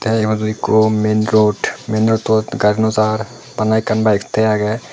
ta eyot okho main road main road tot gari no jer bana akkan bike tegay agey.